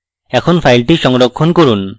এখন file সংরক্ষণ করুন